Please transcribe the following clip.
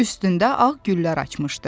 Üstündə ağ güllər açmışdı.